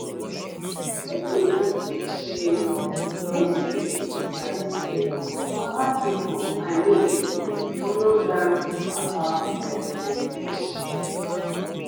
wetin i mean be say e dey sweet to sabi say other people i mean dey follow learn about breast milk storage